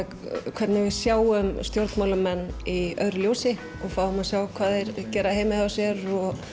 hvernig við sjáum stjórnmálamenn í öðru ljósi við fáum að sjá hvað þeir gera heima hjá sér og